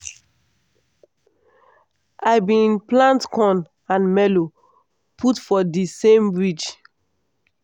i bin plant corn and melo put for the same ridge.